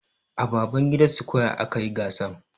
A Babangida square a kayi gasan.